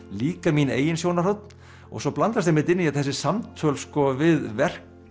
líka mín eigin sjónarhorn og svo blandast einmitt inn í þetta þessi samtöl við verk